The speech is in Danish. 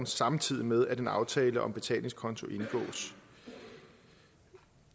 samtidig med at en aftale om betalingskonto indgås